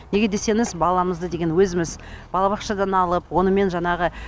неге десеңіз баламызды деген өзіміз балабақшадан алып онымен жаңағы